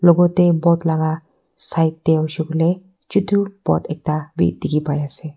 logot teh boat laga side teh hoise bole chidu boat dekhi pai ase.